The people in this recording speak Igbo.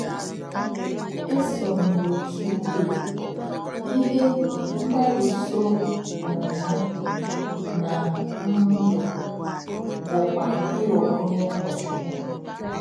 Éso m n’òtù ụ̀kwè, ìhè mgbárùsọ um m ná um ndụ bụ́kwa ịghọ onye ụ̀kọ́chukwu.